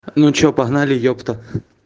ну что погнали ёпта